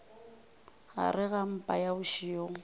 gare ga mpa ya bošego